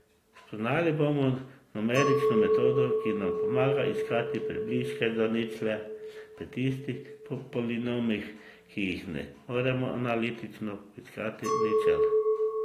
Spoznali bomo numerično metodo, ki nam pomaga iskati približke za ničle pri tistih polinomih, ki jim ne moremo analitično poiskati ničel.